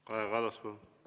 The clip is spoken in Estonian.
Kaja Kallas, palun!